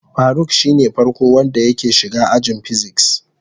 Faruk shine farko wanda yake shiga ajin "physics".